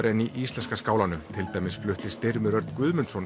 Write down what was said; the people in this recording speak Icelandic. en í íslenska skálanum til dæmis flutti Styrmir Örn Guðmundsson